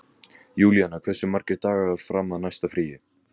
Júlíanna, hversu margir dagar fram að næsta fríi?